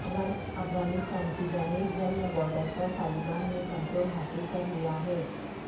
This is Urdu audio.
افغانستان کی جانب جمن بارڈر پر طالبان نے کنٹرول حاصل کر لیا ہے